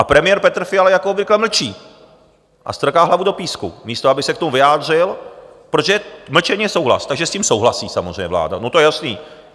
A premiér Petr Fiala jako obvykle mlčí a strká hlavu do písku, místo aby se k tomu vyjádřil, protože mlčení je souhlas, takže s tím souhlasí samozřejmě vláda, no to je jasné.